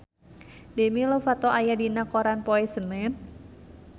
Demi Lovato aya dina koran poe Senen